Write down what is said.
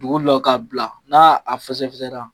Dugu lɔ ka bila n'a a fɛsɛfɛsɛra